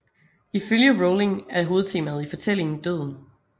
Ifølge Rowling er hovedtemaet i fortælling døden